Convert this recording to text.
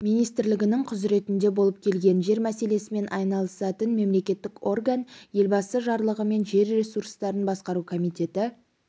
министрлігінің құзыретінде болып келген жер мәселесімен айналысатын мемлекеттік орган елбасы жарлығымен жер ресурстарын басқару комитеті